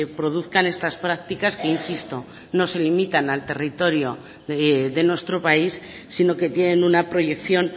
produzcan estas prácticas que insisto no se limitan al territorio de nuestro país sino que tienen una proyección